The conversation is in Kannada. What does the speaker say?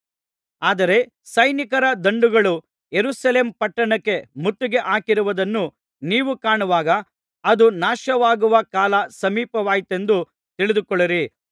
ಆದರೆ ಸೈನಿಕರ ದಂಡುಗಳು ಯೆರೂಸಲೇಮ್ ಪಟ್ಟಣಕ್ಕೆ ಮುತ್ತಿಗೆ ಹಾಕಿರುವುದನ್ನು ನೀವು ಕಾಣುವಾಗ ಅದು ನಾಶವಾಗುವ ಕಾಲ ಸಮೀಪವಾಯಿತೆಂದು ತಿಳಿದುಕೊಳ್ಳಿರಿ